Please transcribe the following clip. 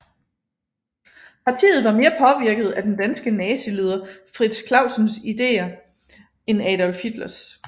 Partiet var mere påvirket af den danske nazileder Frits Clausens ideer end Adolf Hitlers